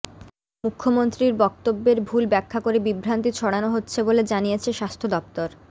মুখ্যমন্ত্রীর বক্তব্যের ভুল ব্যাখ্যা করে বিভ্রান্তি ছড়ানো হচ্ছে বলে জানিয়েছে স্বাস্থ্য দফতর